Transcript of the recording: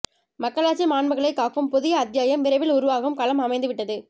மக்களாட்சி மாண்புகளைக் காக்கும் புதிய அத்தியாயம் விரைவில் உருவாகும் களம் அமைந்துவிட்டது